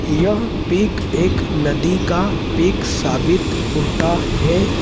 यह पिक एक नदी का पिक साबित होता है।